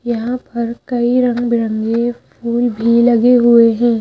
यहां पर कई रंग बिरंगे फूल भी लगे हुए हैं।